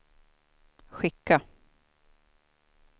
skicka